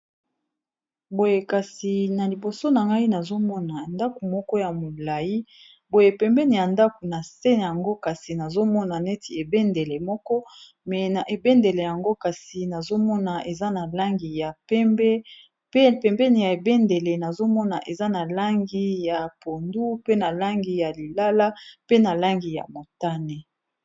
boye kasi na liboso na ngai nazomona ndako moko ya molai boye pembeni ya ndako na se yango kasi nazomona neti ebendele moko me na ebendele yango kasi nazomona eza na langi ya pembe p pembeni ya ebendele nazomona eza na langi ya pondu pe na langi ya lilala pe na langi ya motane